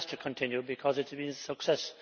It has to continue, because it has been a success.